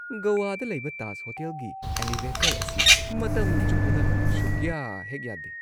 ꯒꯋꯥꯗ ꯂꯩꯕ ꯇꯥꯖ ꯍꯣꯇꯦꯜꯒꯤ ꯑꯦꯂꯤꯚꯦꯇꯔ ꯑꯁꯤ ꯃꯇꯝ ꯆꯨꯞꯄꯗ ꯁꯨꯛꯌꯥꯍꯦꯛ-ꯌꯥꯗꯦ ꯫